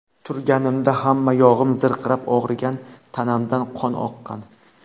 Turganimda hamma yog‘im zirqirab og‘rigan, tanamdan qon oqqan.